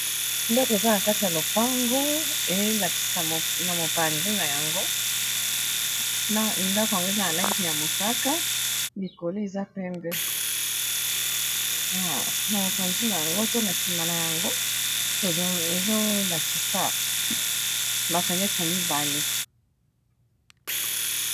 Ndako eza na kati ya lopango elakisa na mopanzi na yango ndako yango eza na langi ya mosaka likolo eza pembe na mopanzi na yango to na sima na yango ezolakisa ba fenetre mibale.